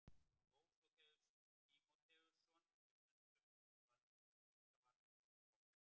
Dósóþeus Tímóteusson sem stundum dvaldi þar líka var skáld gott.